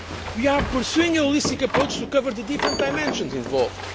We are pursuing a holistic approach to covering the different dimensions involved.